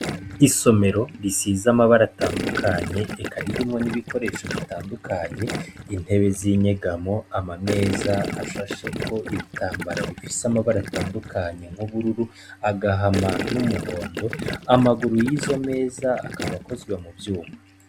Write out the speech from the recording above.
Isomero risize amabara atandukanye eka ririmwo nibikoresho bitandukanye intebe zinyegamo amameza ashasheko ibitambara bifise amabara atandukanye nkubururu agahama numuhondo amaguru yizo meza akaba akozwe mu vyuma .